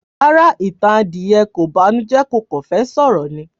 Rárá, ìtàn adìẹ kò banújẹ́ kó kan fẹ́ sọ̀rọ̀ ni